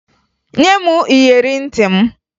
Nye m iyeri ntị m!